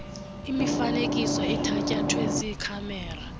imifanekiso ethatyathwe ziikhamera